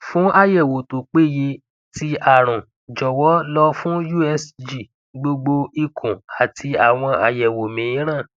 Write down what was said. fun ayẹwo to peye ti arun jọwọ lọ fun usg gbogbo ikun ati awọn ayẹwo miiran